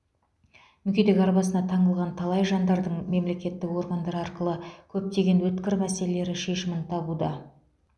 мүгедек арбасына таңылған талай жандардың мемлекеттік органдар арқылы көптеген өткір мәселелері шешімін табуда